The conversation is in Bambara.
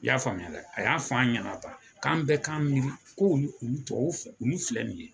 I y'a faamuya dɛ a y'a f'an ɲana tan k'an bɛɛ k'an miiri k'olu olu tubabuw fɛ olu filɛ nin ye.